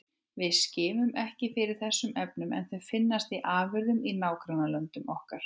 Við skimum ekki fyrir þessum efnum en þau finnast í afurðum í nágrannalöndum okkar.